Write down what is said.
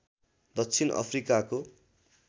दक्षिण अफ्रिकाको